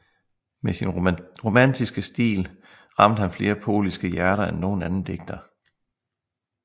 Med sin romantiske stil ramte han flere polske hjerter end nogen anden digter